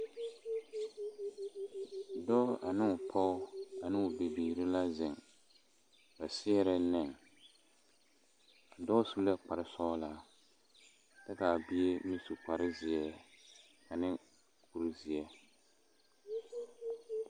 Dɔɔ ane o pɔge ane o bibiiri la zeŋ ba seɛrɛ nɛne a dɔɔ su la kparesɔglaa kyɛ ka a bie meŋ su kparezeɛ ane kuri zeɛ